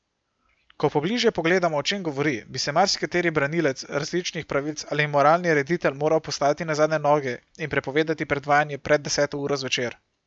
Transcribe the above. Ko pobližje pogledamo, o čem govori, bi se marsikateri branilec različnih pravic ali moralni reditelj moral postaviti na zadnje noge in prepovedati predvajanje pred deseto uro zvečer.